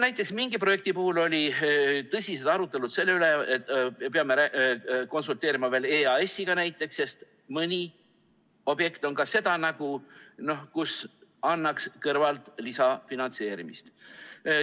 Näiteks, mingi projekti puhul olid tõsised arutelud selle üle, et peame konsulteerima EAS‑iga, sest mõni objekt on seda nägu, et annaks leida talle lisafinantseerimist.